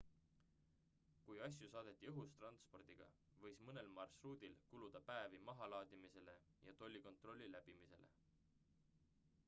kui asju saadeti õhutranspordiga võis mõnel marsruudil kuluda päevi mahalaadimisele ja tollikontrolli läbimisele